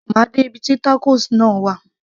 má de ibi tí tacos náà wà